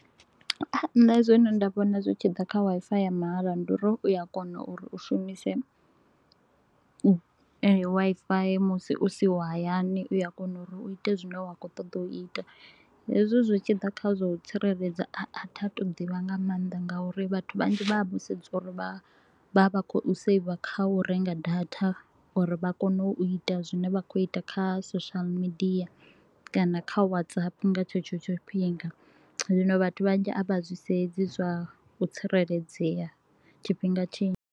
Nne zwine nda vhona zwi tshi ḓa kha Wi-Fi ya mahala ndi uri u ya kona uri u shumise Wi-Fi musi u siho hayani, u a kona uri u ite zwine wa kho u ṱoḓa u ita. Hezwi zwi tshi ḓa kha zwa u tsireledza a a thi a thu u to u ḓivha nga maanḓa nga uri vhathu vhanzhi vha vha vho sedza uri vha vha vha kho u saver kha u renga data uri vha kone u ita zwine vha kho u ita kha social media kana kha WhatsApp nga tshetsho tshifhinga. Zwino vhathu vhanzhi a vha zwi sedzi zwa u tsireledzea tshifhinga tshinzhi.